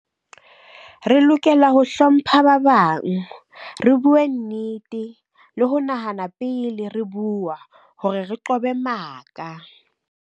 Re lokela ho hlompha ba bang re buwe nnete le ho nahana pele re buwa hore re qobe maka.